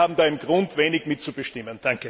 Wir alle haben da im Grunde wenig mitzubestimmen.